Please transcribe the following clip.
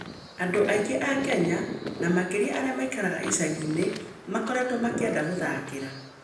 Andũ aingĩ a Kenya, na makĩria arĩa maikaraga icagi-inĩ, makoretwo makĩenda gũthakĩra.